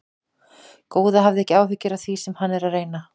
Góða, hafðu ekki áhyggjur af því sem hann er að reyna.